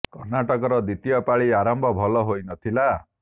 କର୍ଣ୍ଣାଟକର ଦ୍ୱିତୀୟ ପାଳି ଆରମ୍ଭ ଭଲ ହୋଇ ନ ଥିଲା